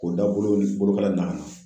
K'o dabolow ni bolokala nana